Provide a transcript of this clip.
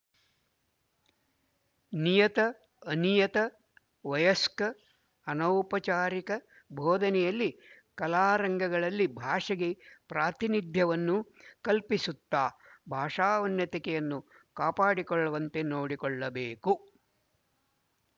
ನಿಯತ ಅನಿಯತ ವಯಸ್ಕ ಅನೌಪಚಾರಿಕ ಬೊಧನೆಯಲ್ಲಿ ಕಲಾರಂಗಗಳಲ್ಲಿ ಭಾಷೆಗೆ ಪ್ರಾತಿನಿಧ್ಯವನ್ನು ಕಲ್ಪಿಸುತ್ತಾ ಭಾಷಾ ಉನ್ನತಿಕೆಯನ್ನು ಕಾಪಾಡಿಕೊಳ್ಳುವಂತೆ ನೋಡಿಕೊಳ್ಳಬೇಕು